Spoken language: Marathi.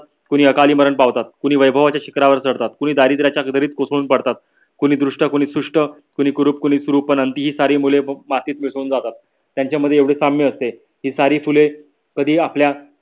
कुणी अकाली मरण पावतात. कुणी वैभवांच्या शिकरावर चडतात. कुणी दरीदऱ्याच्या हृदयित कोसळून पडतात. कुणी दृष्ट कुणी सृष्ट कुणी कुरूप कुणी सुरूप आणखी ही सारी मुले मातीत मिसळून जातात. त्यांच्या मध्ये एवढे साम्य असते की सारी फुले कधी आपल्या